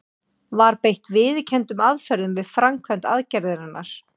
Var beitt viðurkenndum aðferðum við framkvæmd aðgerðarinnar?